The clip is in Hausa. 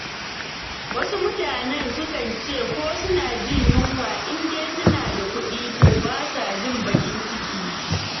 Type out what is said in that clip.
Wasu mutanen sukan ce ko suna jin yunwa, in dai suna da kuɗi, to ba sa jin baƙin ciki.